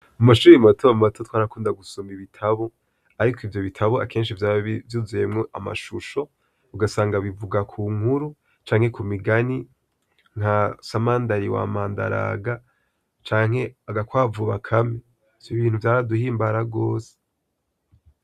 Mu mashuri mato mato twarakunda gusoma ibitabo; ariko ivyo bitabo, akenshi vyaba vyuzuyemwo amashusho, ugasanga bivuga ku nkuru canke ku migani nka Samandari wa Mandaraga canke Agakwavu Bakame. Ivyo bintu vyaraduhimbara gose.